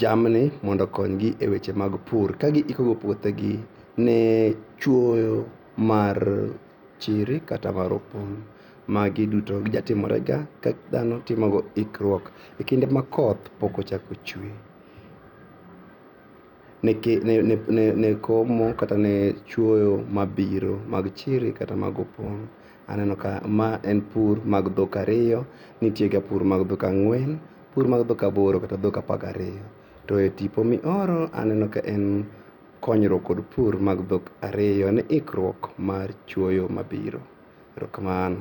jamni mondo okonygi e weche mag pur kagiiko go puothegi ne chuoyo mar chiri kata maropong'.Magi duto jatimorega ka dhano timogo ikruok e kinde ma koth pokochako chue ne komo kata ne chuoyo mabiro mag chiri kata mag opong' .Aneno ka ma en pur mag dhok ariyo nitiega pur mar dhok ang'uen, pur mar dhok aboro kata pur mar dhok apar gariyo. To e tipo mioro aneno ka en konyruok kod pur mag dhok ariyo ne ikruok mar chuoyo mabiro. Erokamano.